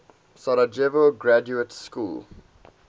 sarajevo graduate school